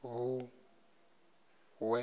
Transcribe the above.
vhuṋwe